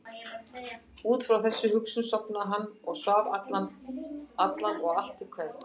Út frá þessari hugsun sofnaði hann og svaf daginn allan og allt til kvelds.